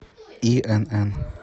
инн